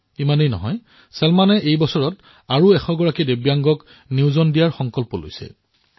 এয়াই নহয় চলমানে এই বৰ্ষত আৰু এশজন দিব্যাংগক কৰ্ম সংস্থাপন প্ৰদান কৰাৰ সংকল্প গ্ৰহণ কৰিছে